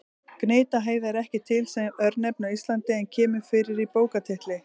Gnitaheiði er ekki til sem örnefni á Íslandi en kemur fyrir í bókartitli.